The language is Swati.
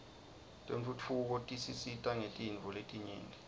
tentfutfuko tisisita ngetinifo letnyenti